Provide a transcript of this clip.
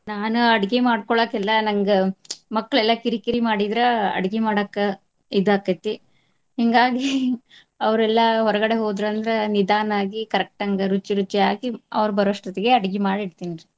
ನಾನ್ ಅಡ್ಗಿ ಮಾಡ್ಕೊಳಾಕ ಎಲ್ಲಾ ನಂಗ್ ಮಕ್ಳ್ ಎಲ್ಲಾ ಕಿರಿಕಿರಿ ಮಾಡಿದ್ರ ಅಡ್ಗಿ ಮಾಡಾಕ ಇದಾಕ್ಕೇತಿ. ಹಿಂಗಾಗಿ ಅವ್ರೆಲ್ಲಾ ಹೊರಗಡೆ ಹೋದ್ರ ಅಂದ್ರ ನಿಧಾನಾಗಿ correct ಅಂಗ ರುಚಿರುಚಿಯಾಗಿ ಅವ್ರ್ ಬರೋವಷ್ಟತ್ತಿಗೆ ಅಡ್ಗಿ ಮಾಡಿ ಇಡ್ತಿನ್ರಿ.